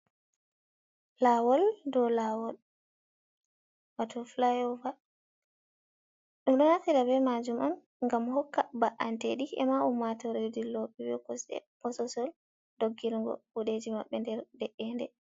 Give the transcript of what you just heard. Lawol dow lawol wato flyova, ɗum ɗo naftira be majum on ngam hokka ba’anteɗi e ma ummatore dillo ɓe be kosɗe posesol dog girgo kuɗeji maɓɓe nder de’ende.